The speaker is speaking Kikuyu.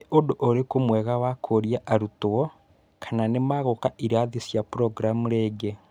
Nĩũndũ ũrïkũ mwega wakũũria arutwo kana nïmegũka irathi cia programu rĩngĩ?